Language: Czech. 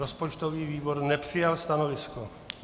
Rozpočtový výbor nepřijal stanovisko.